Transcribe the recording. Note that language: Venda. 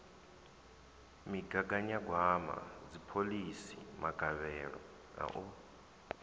migaganyagwama dziphoḽisi magavhelo a u